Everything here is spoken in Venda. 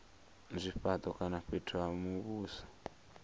zwifhato kana fhethu ha muvhuso